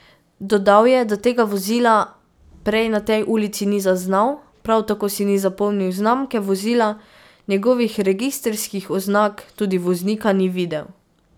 Dodal je, da tega vozila prej na tej ulici ni zaznal, prav tako si ni zapomnil znamke vozila, njegovih registrskih oznak, tudi voznika ni videl.